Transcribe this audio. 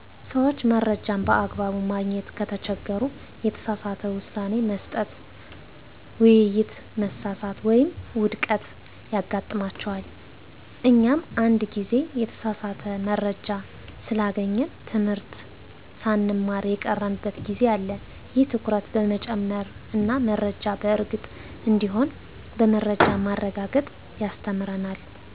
ሰዎች መረጃን በአግባቡ ማግኘት ከተቸገሩ፣ የተሳሳተ ውሳኔ መስጠት፣ ውይይት መሳሳት ወይም ውድቀት ያጋጥማቸዋል። እኛም አንድ ጊዜ የተሳሳተ መረጃ ስላገኘን ትምህርት ሳንማር የቀረንበት ጊዜ አለ። ይህ ትኩረት በመጨመር እና መረጃ በእርግጥ እንዲሆን በመረጃ ማረጋገጥ ያስተምረናል።